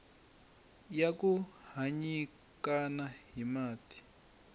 ya ku nyikana hi mati